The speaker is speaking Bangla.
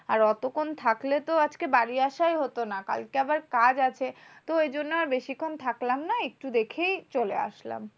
আর অতক্ষণ থাকলে তো আজকে বাড়ি আসাই হতো না। কালকে আবার কাজ আছে। তো ঐজন্য আর বেশিক্ষন থাকলাম না। একটু দেখেই চলে আসলাম।